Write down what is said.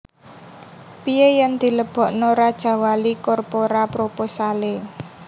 Pie yen dilebokno Rajawali Corpora proposale